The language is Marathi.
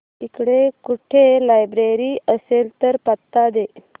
इकडे कुठे लायब्रेरी असेल तर पत्ता दे